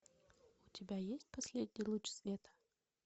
у тебя есть последний луч света